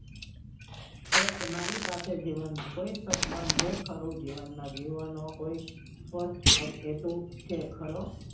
તો તમારી પાસે જીવન નું કોઈ સ્વપ્ન છે ખરું જીવન માં જીવવા નો કોઈ સ્પષ્ટ હેતુ છે ખરો